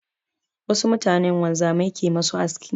Wasu mutanen wanzamai ke ma su aski.